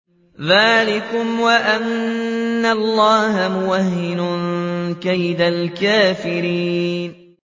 ذَٰلِكُمْ وَأَنَّ اللَّهَ مُوهِنُ كَيْدِ الْكَافِرِينَ